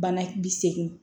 Bana bi segi